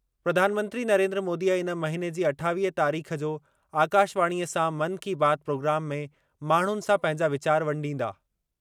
प्रधानमंत्री नरेन्द्र मोदीअ इन महिने जी अठावीह तारीख़ जो आकाशवाणीअ सां मन की बात प्रोग्राम में माण्हुनि सां पंहिंजा वीचार वंडींदा।